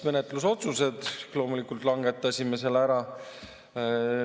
Menetlusotsused loomulikult langetasime ka.